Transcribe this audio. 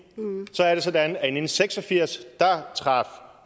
er det sådan at i nitten seks og firs traf